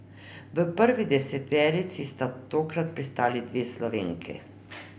V prvi deseterici sta tokrat pristali dve Slovenki.